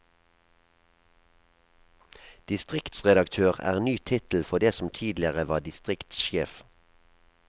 Distriktsredaktør er ny tittel for det som tidligere var distriktssjef.